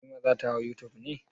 Halima za ta hau youtube ne?